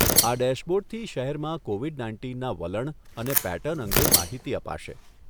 આ ડેશબોર્ડથી શહેરમાં કોવિડ નાઇન્ટીનના વલણ અને પેટર્ન અંગે માહિતી અપાશે.